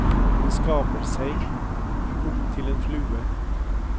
Han skaper seg om til en flue.